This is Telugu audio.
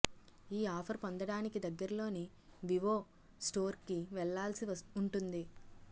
ఈ ఆఫర్ పొందడానికి దగ్గర్లోని వివో స్టోర్కి వెళ్లాల్సి ఉంటుంది